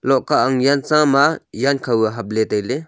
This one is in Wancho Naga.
lohkah ang yang cha ma zankhau ye hap ley tai ley.